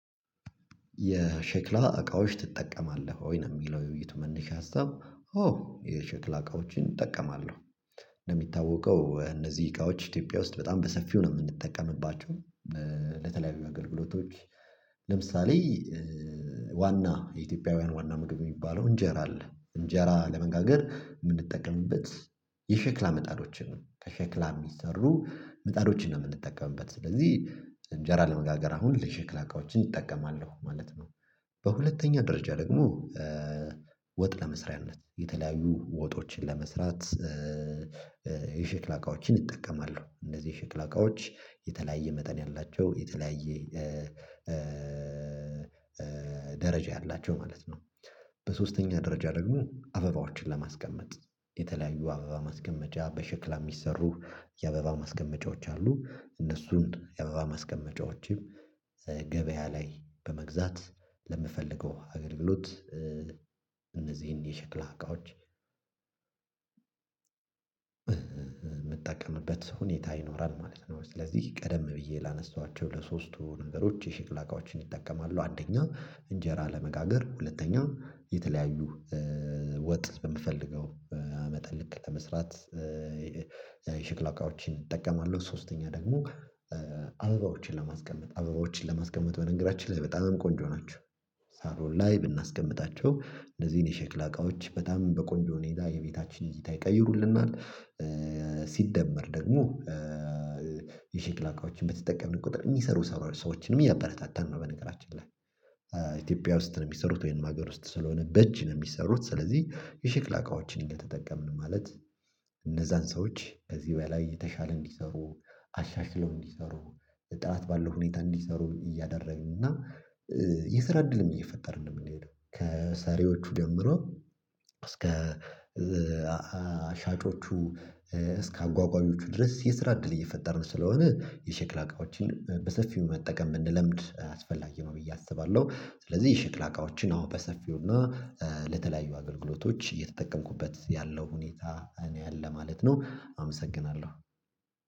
የሸክላ? እቃዎች ትጠቀማለህ ወይ ነው የሚለው ውይይት መነሻ ሀሳብ አዎ የሸክላ እቃዎችን እጠቀማለሁ። እንደሚታወቀው እነዚህ እቃዎች ኢትዮጵያ ውስጥ በጣም በሰፊው ነው የምንጠቀምባቸው። ለተለያዩ አገልግሎቶች። ለምሳሌ ዋና የኢትዮጵያውያን ዋና ምግብ የሚባለው እንጀራ አለ እንጀራ ለመጋገር የምንጠቀምበት የሸክላ ምጣዶችን ከሸክላ የሚሰሩ ምጣዶችን ነው። የምንጠቀምበት ስለዚህ እንጀራ ለመጋገር አሁን ለሽክላ እቃዎችን እጠቀማለሁ ማለት ነው። በሁለተኛ ደረጃ ደግሞ ወጥ ለመስሪያነት የተለያዩ ወጦችን ለመስራት የሽክላ እቃዎችን እጠቀማለሁ። እንደዚህ ሽክለ እቃዎች የተለያየ መጠን ያላቸው የተለያየ ደረጃ ያላቸው ማለት ነው። በሶስተኛ ደረጃ ደግሞ አበባዎችን ለማስቀመጥ የተለያዩ አበባ ማስቀመጫ በሽክላ የሚሰሩ የአበባ ማስቀመጫዎች አሉ እነሱም አበባ ማስቀመጫዎችም ገበያ ላይ በመግዛት ለምፈልገው አገልግሎት እነዚህን የሸክላ እቃዎች የምጠቀምበት ሁኔታ ይኖራል ማለት ነው። ስለዚህ ቀደም ብዬ ላነሳኋቸው ለሶስቱ ነገሮች የሽቅላ እቃዎችን እጠቀማለው። አንደኛ እንጀራ ለመጋገር ሁለተኛ የተለያዩ ወጥ በምፈልገው መጠን ልክ ለመስራት የሸክላ እቃዎችን እጠቀማለሁ ሶስተኛ ደግሞ አበባዎችን ለማስቀመጥ አበባዎችን ለማስቀመጥ በነገራችን ላይ በጣም ቆንጆ ናቸው። ሳር ላይ ብናስቀምጣቸው እንደዚህ እኔ ሸክላ እቃዎች በጣም በቆንጆ ሁኔታ የቤታችን እይታ ይቀይሩልናል። ሲደመር ደግሞ የሸክላ እቃዎችን በተጠቀምን ቁጥር የሚሰሩ ሰዎችንም የሚያበረታታን ነው። በነገራችን ላይ ኢትዮጵያ ውስጥ ነው የሚሰሩት ወይም ሀገር ውስጥ ስለሆነ በእጅ ነው የሚሰሩት። ስለዚህ የሽክላ እቃዎችን እንደተጠቀምን ማለት እነዛን ሰዎች ከዚህ በላይ የተሻለ እንዲሰሩ አሻሽለው እንዲሰሩ ጥራት ባለው ሁኔታ እንዲሰሩ እያደረግን እና የስራ እድልም እየፈጠርን ነው የምንሄደው ከሰሪዎቹ ጀምሮ እስከ ሻጮቹ እስከ አጓጓዦቹ ድረስ የስራ እድል እየፈጠርን ስለሆነ የሸክላ እቃዎችን በሰፊው መጠቀም ብንለምድ አስፈላጊ ነው ብዬ አስባለሁ። ስለዚህ የሽቅላ አቃዎችን አሁን በሰፊው እና ለተለያዩ አገልግሎቶች እየተጠቀምኩበት ያለው ሁኔታ ነወ ያለው ማለት ነው። አመሰግናለሁ።